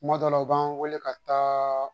Kuma dɔ la u b'an wele ka taa